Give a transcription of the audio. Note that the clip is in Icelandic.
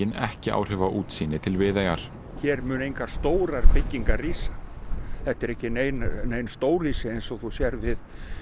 ekki áhrif á útsýni til Viðeyjar hér munu engar stórar byggingar rísa þetta eru ekki nein nein stórhýsi eins og þú sérð við